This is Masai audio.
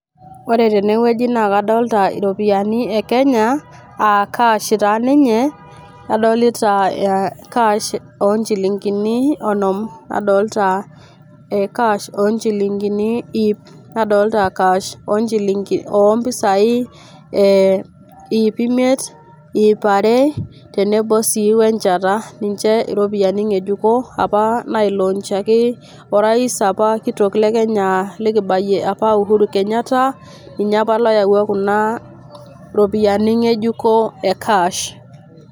Ore tenewueji naa kadolita iropiyiani e Kenya aa cash taa ninye, adolita cash oonchilingini onom, adolita cash oonchilingini iip, adolita cash ompisai iip imiet ,iip are tenebo sii we enchata . Niche iropiyiani ngejuko apa nailoonchaki orais apa kitok le kenya likibayie apa Uhuru Kenyatta , ninye apa loyawua kuna ropiyiani ngejuko e cash.